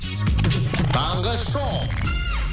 таңғы шоу